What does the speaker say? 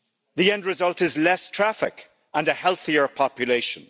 The end result is less traffic and a healthier population.